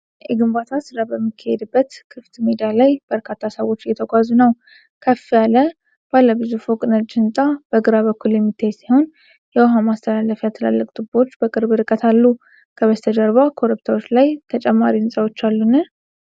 የግንባታ ሥራ በሚካሄድበት ክፍት ሜዳ ላይ በርካታ ሰዎች እየተጓዙ ነው። ከፍ ያለ ባለ ብዙ ፎቅ ነጭ ህንፃ በግራ በኩል የሚታይ ሲሆን፣ የውሃ ማስተላለፊያ ትላልቅ ቱቦዎች በቅርብ ርቀት አሉ። ከበስተጀርባ ኮረብታዎች ላይ ተጨማሪ ሕንፃዎች አሉን?